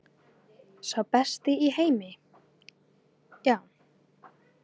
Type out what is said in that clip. Sá besti í heimi, já.